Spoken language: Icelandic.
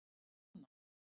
Jóna